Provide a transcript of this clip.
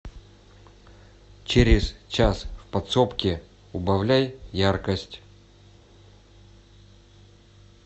через час в подсобке убавляй яркость